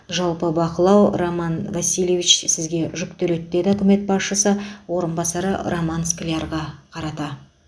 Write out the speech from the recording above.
жалпы бақылау роман васильевич сізге жүктеледі деді үкімет басшысы орынбасары роман склярға қарата